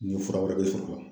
Ni fura wɛrɛ be sɔrɔ a la.